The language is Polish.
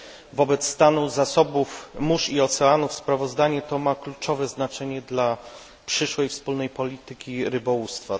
Wobec stanu zasobów mórz i oceanów sprawozdanie to ma kluczowe znaczenie dla przyszłej wspólnej polityki rybołówstwa.